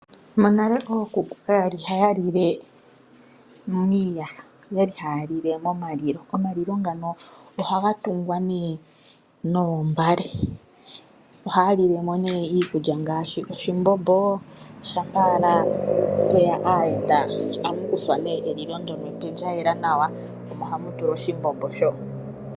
Monale ookuku kaya li haya lile miiyaha. Oya li haya lile momalilo. Omalilo ngano ohaga tungwa noombale. Ohaya lile mo nduno iikulya ngaashi oshimbombo. Uuna mwe ya aayenda megumbo ohamu kuthwa elilo ndyoka epe lya yela nawa, omo hamu tulwa oshimbombo shoka.